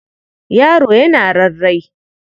Yaro yana rarrae.